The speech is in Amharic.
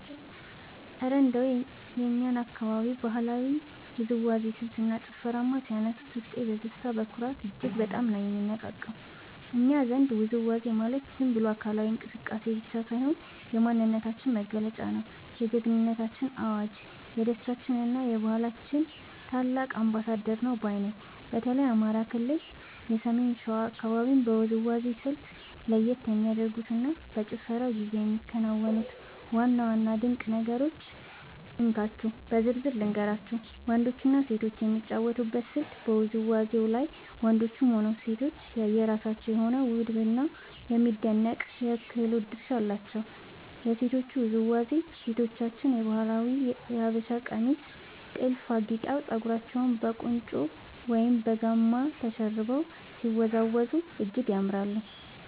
እረ እንደው የእኛን አካባቢ የባህላዊ ውዝዋዜ ስልትና ጭፈርማ ሲያነሱት፣ ውስጤ በደስታና በኩራት እጅግ በጣም ነው የሚነቃቃው! እኛ ዘንድ ውዝዋዜ ማለት ዝም ብሎ አካላዊ እንቅስቃሴ ብቻ ሳይሆን፣ የማንነታችን መገለጫ፣ የጀግንነታችን አዋጅ፣ የደስታችንና የባህላችን ታላቅ አምባሳደር ነው ባይ ነኝ። በተለይ የአማራ ክልል የሰሜን ሸዋ አካባቢን የውዝዋዜ ስልት (እስክስታ) ለየት የሚያደርጉትንና በጭፈራው ጊዜ የሚከናወኑትን ዋና ዋና ድንቅ ነገሮች እንካችሁ በዝርዝር ልንገራችሁ፦ . ወንዶችና ሴቶች የሚጫወቱበት ስልት በውዝዋዜው ላይ ወንዶችም ሆኑ ሴቶች የየራሳቸው የሆነ ውብና የሚደነቅ የክህሎት ድርሻ አላቸው። የሴቶቹ ውዝዋዜ፦ ሴቶቻችን በባህላዊው የሀበሻ ቀሚስና ጥልፍ አጊጠው፣ ፀጉራቸውን በቁንጮ ወይም በጋማ ተሸርበው ሲወዝወዙ እጅግ ያምራሉ።